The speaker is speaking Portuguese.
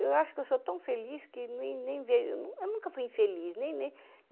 Eu acho que eu sou tão feliz que nem nem vejo... Eu não eu nunca fui infeliz. Nem nem